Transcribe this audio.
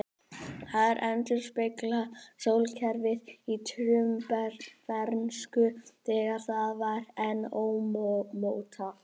Þær endurspegla sólkerfið í frumbernsku, þegar það var enn ómótað.